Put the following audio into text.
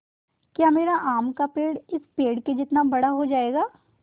या मेरा आम का पेड़ इस पेड़ के जितना बड़ा हो जायेगा